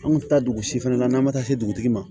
An kun tɛ taa dugu si fɛnɛ na n'an ma taa se dugutigi ma